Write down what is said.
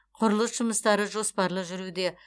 құрылыс жұмыстары жоспарлы жүруде